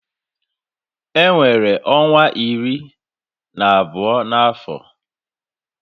E nwere ọnwa iri na abụọ na afọ